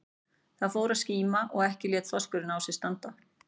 Það fór að skíma og ekki lét þorskurinn á sér standa.